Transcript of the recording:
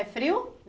É frio?